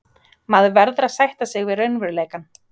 Maður verður að sætta sig við raunveruleikann.